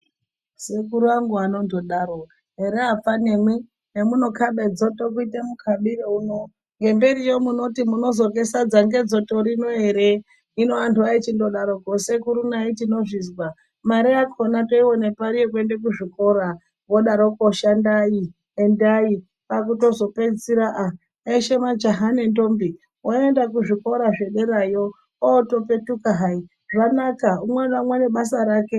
Sekuru angu anondodaro here apfanamwi zvemunokaba dzoto kuita mukabiro uno ngemberiyo munoti munozorye sadza ngedzoto rinoere. Hino antu aichindodaroko sekuru nai tinozvizwa. Mare yako toiona pari yekuenda kuzvikora vodaroko shandai endai votozopedzisira aa eshe majaha nendombi vaenda kuzvikora zvederayo otopetuka hai zvanaka umwe naumwe nebasa rake.